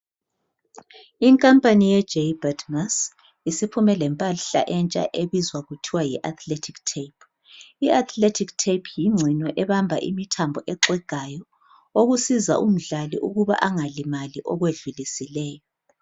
Inkamapani yeJaybird mais isiphume lempahla entsha ebizwa kuthiwa yiathletic tape. Iatheletic tape yingcino ebamba imithambo exegayo okusiza umdlali ukuba angalimali okwedlulisileyo.